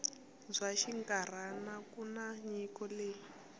bya xinkarhana kutani nyiko leyi